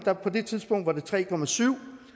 på det tidspunkt var det tre syv